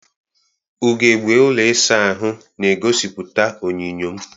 Ugegbe ụlọ ịsa ahụ na-egosipụta onyinyo m.